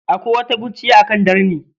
Akwai wata kurciya akan darni.